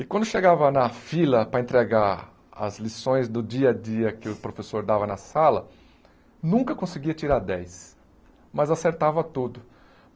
E quando chegava na fila para entregar as lições do dia a dia que o professor dava na sala, nunca conseguia tirar dez, mas acertava tudo.